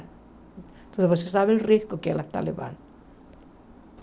Então vocês sabem o risco que ela está levando.